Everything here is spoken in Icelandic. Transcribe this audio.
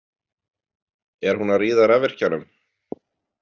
Er hún að ríða rafvirkjanum?